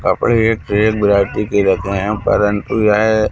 वहां पर एक से एक वेराइटी की रथे है परन्तु येह--